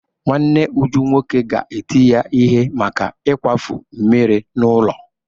Nwanne Uju nwoke ga-eti ya ihe maka ịkwafu mmiri n'ụlọ.